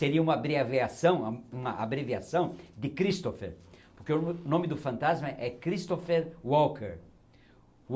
Seria uma abreviação uma abreviação de Christopher, porque o nome do fantasma é Christopher Walker